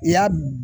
I y'a